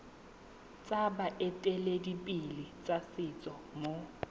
tsa baeteledipele ba setso mo